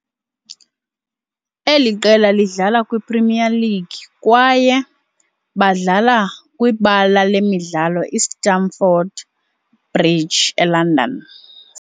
eli qela lidlala kwiPremier League, kwaye badlala ekwibala lemidlalo iStamford Bridge eLondon.